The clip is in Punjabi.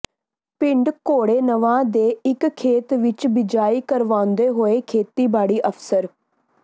ਪਿੰਡ ਘੋੜੇਨਵਾ ਦੇ ਇਕ ਖੇਤ ਵਿੱਚ ਬਿਜਾਈ ਕਰਵਾਉਂਦੇ ਹੋਏ ਖੇਤੀਬਾੜੀ ਅਫ਼ਸਰ